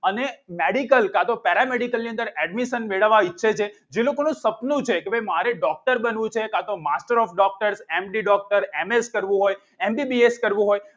અને medical કાં તો peramedical ની અંદર admission મેળવવા ઈચ્છે છે જે લોકોનું સપનું છે કે ભાઈ મારે doctor બનવું છે કાં તો master of doctor M D doctor M S કરવું હોય એમબીબીએસ કરવું હોય